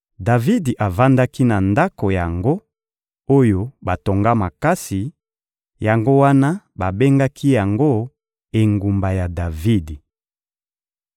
Davidi avandaki na ndako yango oyo batonga makasi; yango wana babengaki yango «Engumba ya Davidi.»